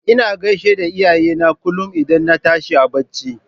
Ina gaishe da iyayena kullum idan na tashi a barci.